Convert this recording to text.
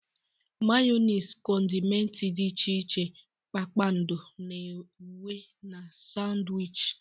Mayonezi, condimenti dị iche iche, kpakpando na uwe na Sanwichi.